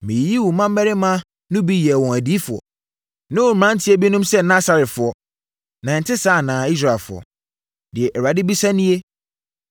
Meyiyii mo mmammarima no bi yɛɛ wɔn adiyifoɔ, ne mo mmeranteɛ binom sɛ Nasarefoɔ. Na ɛnte saa anaa, Israelfoɔ?” Deɛ Awurade bisa nie.